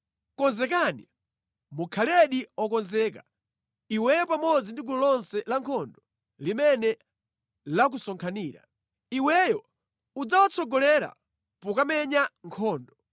“ ‘Konzekani! Mukhaledi okonzeka, iweyo pamodzi ndi gulu lonse la nkhondo limene lakusonkhanira. Iweyo udzawatsogolera pokamenya nkhondo.